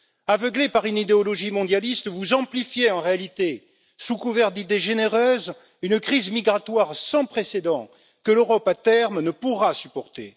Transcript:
Aveuglés par une idéologie mondialiste, vous amplifiez en réalité, sous couvert d'idées généreuses, une crise migratoire sans précédent que l'Europe, à terme, ne pourra supporter.